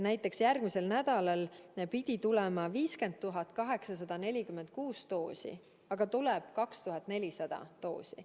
Näiteks järgmisel nädalal pidi tulema 50 846 doosi, aga tuleb 2400 doosi.